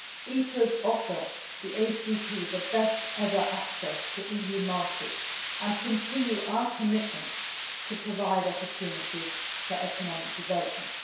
EPAs offer the ACP the best ever access to EU markets and continue our commitment to provide opportunities for economic development.